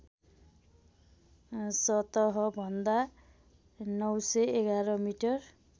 सतहभन्दा ९११ मिटर